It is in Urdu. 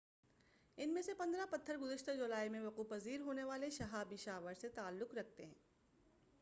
ان میں سے پندرہ پتھر گزشتہ جولائی میں وقوع پذیر ہونے والے شہابی شاور سے تعلق رکھتے ہیں